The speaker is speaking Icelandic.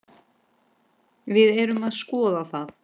Við erum að skoða það.